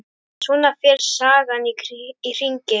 Svona fer sagan í hringi.